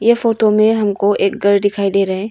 ये फोटो में हमको एक घर दिखाई दे रहा है।